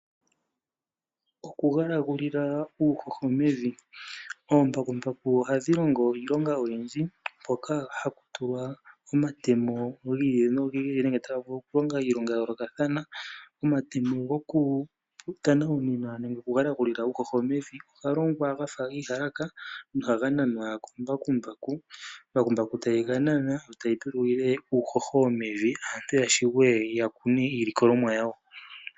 Okugalagulila uuhoho mevi, oombakumbaku ohadhi longo iilonga oyindji mpoka haku tulwa omatemo gi ili nogi ili nenge taga vulu oku longa iilonga ya yoolokathana. Omatemo goku tanawunina nenge gokugalagulila uuhoho mevi oga longwa gafa iiyalaka nohaga nanwa kombakumbaku, ombakumbaku tayi ga nana yo tayi galagulile uuhoho mevi opo aantu ya vule ya kune iilikolomwa yawo.